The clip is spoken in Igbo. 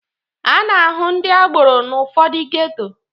A na-ahụ ndị agboro n'ụfọdụ geto